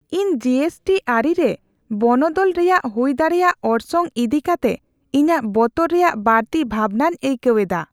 ᱤᱧ ᱡᱤᱹ ᱮᱥᱹᱴᱤ ᱟᱹᱨᱤ ᱨᱮ ᱵᱚᱱᱚᱫᱚᱞ ᱨᱮᱭᱟᱜ ᱦᱩᱭ ᱫᱟᱲᱮᱭᱟᱜ ᱚᱨᱥᱚᱝ ᱤᱫᱤ ᱠᱟᱛᱮ ᱤᱧᱟᱹᱜ ᱵᱚᱛᱚᱨ ᱨᱮᱭᱟᱜ ᱵᱟᱹᱲᱛᱤ ᱵᱷᱟᱵᱱᱟᱧ ᱟᱹᱭᱠᱟᱹᱣ ᱮᱫᱟ ᱾